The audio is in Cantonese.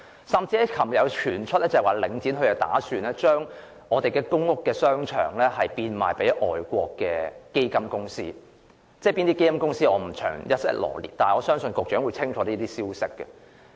更甚的是，昨天有消息傳出，領展打算將一些公屋商場賣給外國基金公司，但我不會在此臚列有關基金公司的名稱，我相信局長清楚知道這些消息。